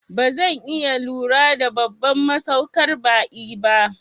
Bazan iya lura da babban masaukar ba'i ba